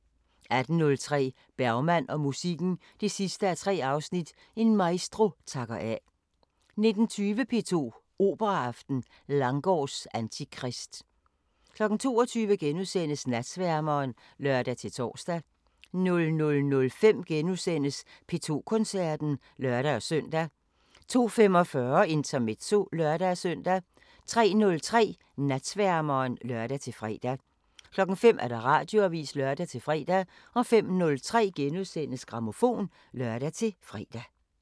18:03: Bergman og musikken 3:3 – En maestro takker af 19:20: P2 Operaaften: Langgaards Antikrist 22:00: Natsværmeren *(lør-tor) 00:05: P2 Koncerten *(lør-søn) 02:45: Intermezzo (lør-søn) 03:03: Natsværmeren (lør-fre) 05:00: Radioavisen (lør-fre) 05:03: Grammofon *(lør-fre)